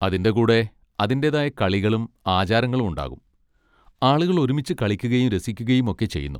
അതിൻ്റെ കൂടെ അതിന്റേതായ കളികളും ആചാരങ്ങളും ഉണ്ടാകും, ആളുകൾ ഒരുമിച്ച് കളിക്കുകയും രസിക്കുകയും ഒക്കെ ചെയ്യുന്നു.